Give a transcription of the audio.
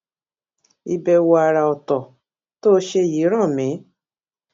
ìbèwò àrà òtò tó ṣe yìí rán mi